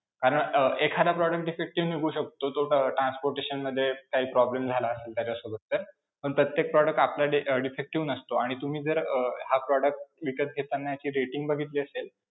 अं एखादा product defective निघू शकतो, तो अं transportation मध्ये काही problem झाला असेल त्याच्यासोबाबत तर, पण प्रत्येक product आपला defective नसतो आणि तुम्ही जर अं हा product विकत घेताना ह्याची rating बघितली असेल.